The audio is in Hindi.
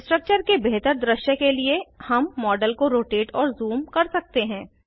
स्ट्रक्चर के बेहतर दृश्य के लिए हम मॉडल को रोटेट और ज़ूम कर सकते हैं